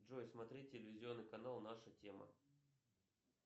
джой смотреть телевизионный канал наша тема